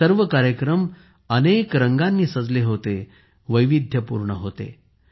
हे सर्व कार्यक्रम अनेक रंगानी सजले होते वैविध्यपूर्ण होते